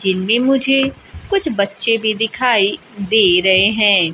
जिनमें मुझे कुछ बच्चे भी दिखाई दे रहे हैं।